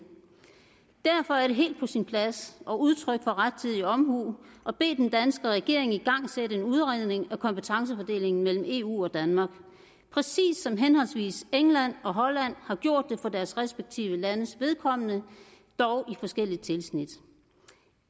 derfor er det helt på sin plads og udtryk for rettidig omhu at bede den danske regering igangsætte en udredning af kompetencefordelingen mellem eu og danmark præcis som henholdsvis england og holland har gjort det for deres respektive landes vedkommende dog i forskelligt tilsnit